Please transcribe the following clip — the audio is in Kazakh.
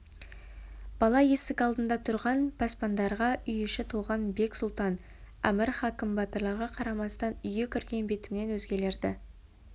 бала есік алдында тұрған пасбандарға үй іші толған бек сұлтан әмір хакім батырларға қарамастан үйге кірген бетімен өзгелерді